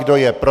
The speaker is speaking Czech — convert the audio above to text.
Kdo je pro?